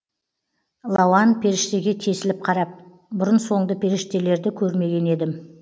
лауан періштеге тесіліп қарап бұрын соңды періштелерді көрмеген едім